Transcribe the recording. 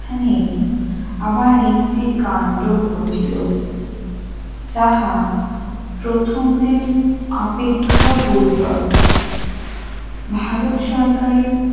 এখানেই আবার একটি কান্ড ঘটিল সাহা প্রথমটির অপেক্ষাও গুরুতর ভারত সরকারের